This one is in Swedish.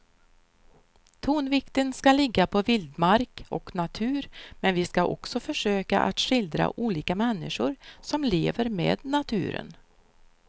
Tonvikten ska ligga på vildmark och natur men vi ska också försöka att skildra olika människor som lever med naturen.